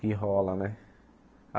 Que rola, né?